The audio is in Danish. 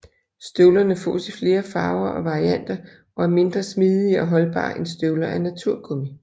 Støvlerne fås i flere farver og varianter og er mindre smidige og holdbare end støvler af naturgummi